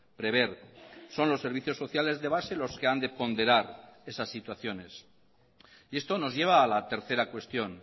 prever son los servicios sociales de base los que han de ponderar esas situaciones y esto nos lleva a la tercera cuestión